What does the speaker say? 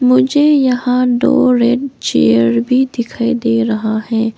मुझे यहां दो रेड चेयर भी दिखाई दे रहा है।